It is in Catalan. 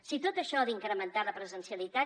si tot això d’incrementar la presencialitat